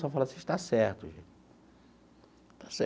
Só falo assim, está certo, gente.